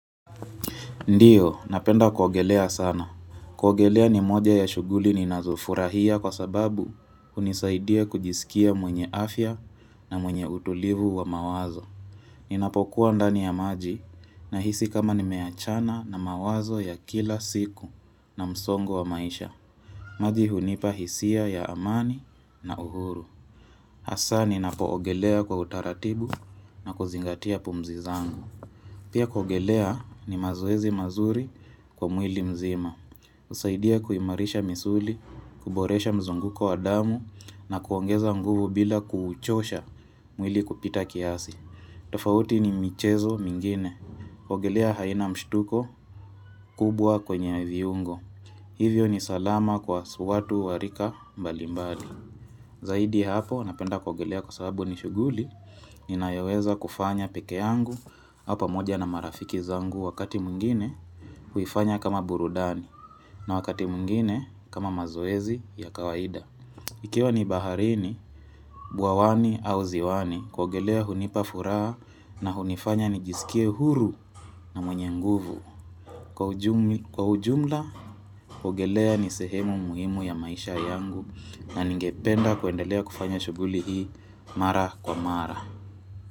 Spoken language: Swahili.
Ndiyo, napenda kuogelea sana. Kuogelea ni moja ya shughuli ni nazofurahia kwa sababu hunisaidia kujisikia mwenye afya na mwenye utulivu wa mawazo. Ninapokuwa ndani ya maji nahisi kama nimeachana na mawazo ya kila siku na msongo wa maisha. Maji hunipa hisia ya amani na uhuru. Hasa ninapoogelea kwa utaratibu na kuzingatia pumzi zangu. Pia kuogelea ni mazoezi mazuri kwa mwili mzima. Husaidia kuimarisha misuli, kuboresha mzunguko wa damu na kuongeza nguvu bila kuuchosha mwili kupita kiasi. Tofauti ni michezo mingine. Kuogelea haina mshtuko kubwa kwenye viungo. Hivyo ni salama kwa watu wa rika mbali mbali. Zaidi ya hapo, napenda kuogelea kwa sababu ni shughuli, ninayoweza kufanya pekee yangu au pamoja na marafiki zangu wakati mwngine huifanya kama burudani na wakati mwngine kama mazoezi ya kawaida. Ikiwa ni baharini, bwawani au ziwani, kuogelea hunipa furaha na hunifanya nijisikie huru na mwenye nguvu. Kwa ujumla, kuogelea ni sehemu muhimu ya maisha yangu na ningependa kuendelea kufanya shughuli hii mara kwa mara.